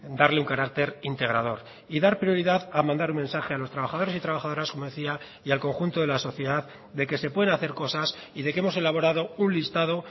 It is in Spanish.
darle un carácter integrador y dar prioridad a mandar un mensaje a los trabajadores y trabajadoras como decía y al conjunto de la sociedad de que se pueden hacer cosas y de que hemos elaborado un listado